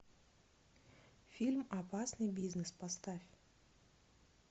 фильм опасный бизнес поставь